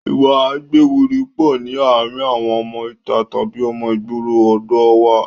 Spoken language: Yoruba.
Ìwà a gbéwiri pọ̀ ní àárín àwọn ọmọ ìta tàbí ọmọ ìgboro ọ̀dọ̀ ọ wa